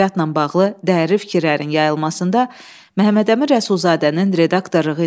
1917-ci ildə baş verən Oktyabr çevrilişi Çar Rusiyasının süqutuna səbəb oldu.